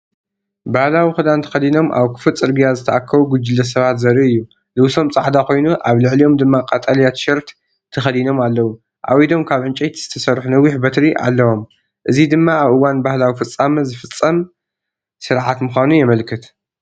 ባህላዊ ክዳን ተኸዲኖም ኣብ ክፉት ጽርግያ ዝተኣከቡ ጉጅለ ሰባት ዘርኢ እዩ። ልብሶም ጻዕዳ ኮይኑ፡ ኣብ ልዕሊኦም ድማ ቀጠልያ ቲሸርት ተኸዲኖም ኣለዉ። ኣብ ኢዶም ካብ ዕንጨይቲ ዝተሰርሑ ነዊሕ በትሪ ኣለዉም። እዚድማ ኣብ እዋን ባህላዊ ፍጻመ ዝፍጸም ስርዓት ምዃኑ የመልክት።